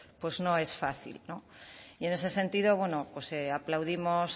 pues no es fácil no y en ese sentido bueno pues aplaudimos